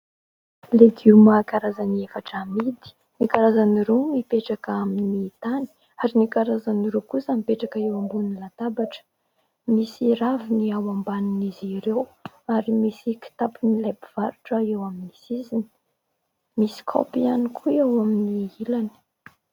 Legioma karazany efatra amidy. Ny karazany roa mipetraka amin'ny tany ary ny karazany roa kosa mipetraka eo ambonin'ny latabatra. Misy raviny ao ambanin'izy ireo ary misy kitapon'ilay mpivarotra eo amin'ny sisiny. Misy kaopy ihany koa eo amin'ny ilany.